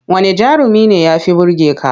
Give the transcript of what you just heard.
Wanne jarumi ne ya fi burge ka?